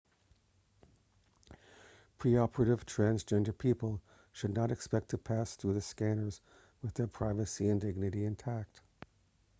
pre-operative transgender people should not expect to pass through the scanners with their privacy and dignity intact